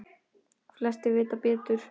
Flestir vita betur.